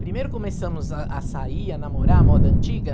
Primeiro começamos a a sair, a namorar, a moda antiga.